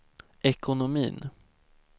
ekonomin